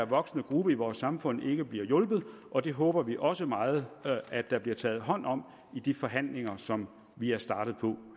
voksende gruppe i vores samfund ikke bliver hjulpet og det håber vi også meget at der bliver taget hånd om i de forhandlinger som vi er startet på